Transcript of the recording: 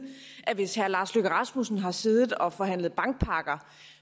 hvis herre lars løkke rasmussen har siddet og forhandlet bankpakker